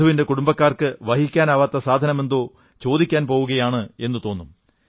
വധുവിന്റെ കുടുംബക്കാർക്ക് വഹിക്കാനാവാത്ത സാധനമെന്തോ ചോദിക്കാൻ പോകയാണ് എന്നു തോന്നും